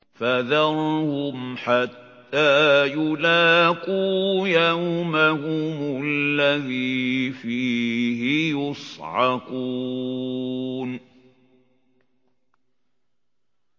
فَذَرْهُمْ حَتَّىٰ يُلَاقُوا يَوْمَهُمُ الَّذِي فِيهِ يُصْعَقُونَ